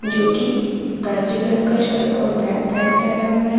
क्योंकि कलर का शर्ट और ब्लैक पैंट पहना हुआ है।